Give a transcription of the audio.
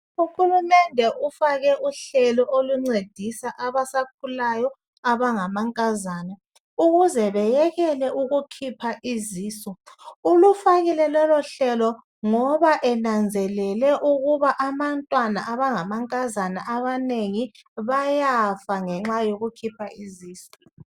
Uhulumende ufake uhlelo oluncedisa abasakhulayo abangamankazana ukuze beyekele ukukhipha izisu. Ulufakile lolohlelo ngoba enanzelele ukuba abantwana abangamankazana abanengi bayafa ngenxa yokukhipha izisu.